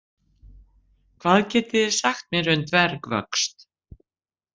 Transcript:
Hvað getið þið sagt mér um dvergvöxt?